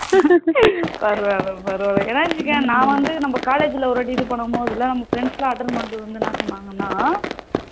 பரவாயில்ல பரவாயில்ல என்னா நா வந்து நம்ம college ல ஒரு வாட்டி இது பண்ணும் போது நம்ம friend லாம் attend பண்ணிட்டு என்ன சொன்னாங்கனா